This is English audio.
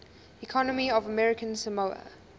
economy of american samoa